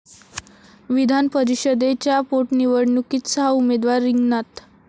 विधानपरिषदेच्या पोटनिवडणुकीत सहा उमेदवार रिंगणात